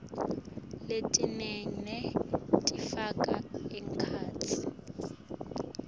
letilingene tifaka ekhatsi